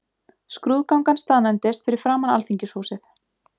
Skrúðgangan staðnæmdist fyrir framan Alþingishúsið.